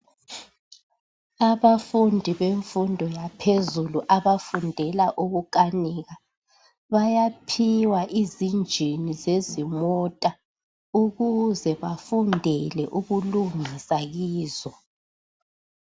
Abafundi bemfundo yaphezulu abafundela ukukanika bayaphiwa izinjini zezimota ukuze bafundele ukulungisa kizo.